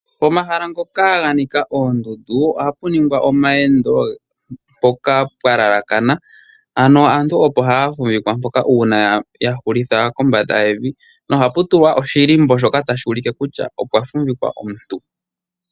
Pomahala ngoka nganika ondundu oha puningwa omawendo mpoka pwalalakana ano aantu opo hafuvikwa mpoka una yahulitha mombanda yevi nohapu tulwa oshilimbo shoka tashulike kutya opwa fuvikwa omuntu.